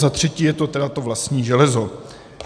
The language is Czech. Za třetí je to tedy to vlastní železo.